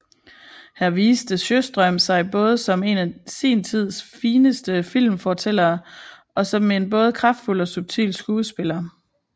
Her viste Sjöström sig både som en af sin tids fineste filmfortællere og som en både kraftfuld og subtil skuespiller